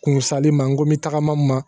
Kun sali ma n ko n bɛ tagama n ma